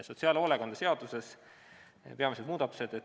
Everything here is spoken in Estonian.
Sotsiaalhoolekande seaduse peamised muudatused.